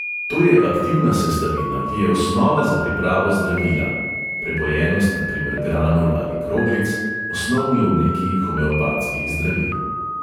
To je aktivna sestavina, ki je osnova za pripravo zdravila (prepojenost na primer granul ali kroglic - osnovni obliki homeopatskih zdravil).